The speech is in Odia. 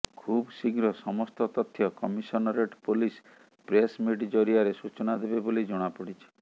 ଖୁବଶୀଘ୍ର ସମସ୍ତ ତଥ୍ୟ କମିଶନରେଟ୍ ପୋଲିସ ପ୍ରେସମିଟ୍ ଜରିଆରେ ସୂଚନା ଦେବେ ବୋଲି ଜଣାପଡିଛି